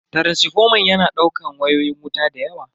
Taransifoman yana daukan wayoyin wuta dayawa.